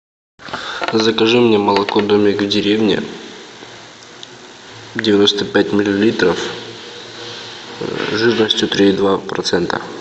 закажи мне молоко домик в деревне девяносто пять миллилитров жирностью три и два процента